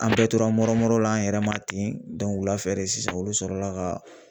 An bɛɛ tora mɔrɔmɔrɔ la an yɛrɛ ma ten wulafɛ de sisan olu sɔrɔla ka